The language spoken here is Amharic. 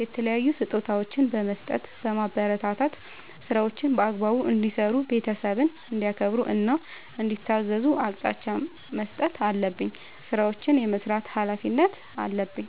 የተለያዩ ስጦታዎችን በመስጠትና በማበረታታት ÷ ስራዎችን በአግባቡ እንዲሰሩ ÷ ቤተሰብን እንዲያከብሩ እና እንዲታዘዙ አቅጣጫ መስጠት አለብኝ። ስራዎችን የመስራት ኃላፊነት አለብኝ።